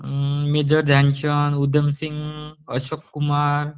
major Dhyanchand, Udhamsingh, Ashok Kumar